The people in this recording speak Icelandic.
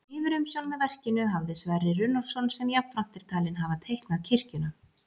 Yfirumsjón með verkinu hafði Sverrir Runólfsson sem jafnframt er talinn hafa teiknað kirkjuna.